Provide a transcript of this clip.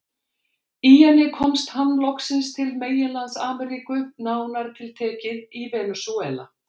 Í henni komst hann loksins til meginlands Ameríku, nánar tiltekið í Venesúela.